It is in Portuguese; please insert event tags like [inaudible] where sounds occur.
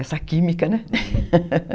Essa química, né? [laughs]